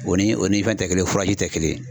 O ni o ni fɛn tɛ kelen tɛ kelen ye.